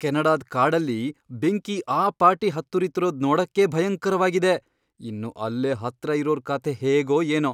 ಕೆನಡಾದ್ ಕಾಡಲ್ಲಿ ಬೆಂಕಿ ಆ ಪಾಟಿ ಹತ್ತುರಿತಿರೋದ್ ನೋಡಕ್ಕೇ ಭಯಂಕರವಾಗಿದೆ, ಇನ್ನು ಅಲ್ಲೇ ಹತ್ರ ಇರೋರ್ ಕಥೆ ಹೇಗೋ ಏನೋ!